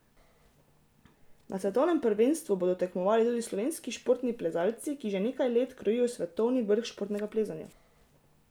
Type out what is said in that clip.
Na svetovnem prvenstvu bodo tekmovali tudi slovenski športni plezalci, ki že nekaj let krojijo svetovni vrh športnega plezanja.